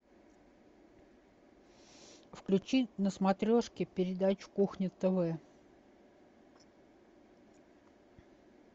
включи на смотрешке передачу кухня тв